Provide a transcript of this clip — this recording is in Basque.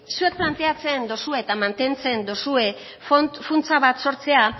zuek planteatzen dozue eta mantentzen dozue funtsa bat sortzea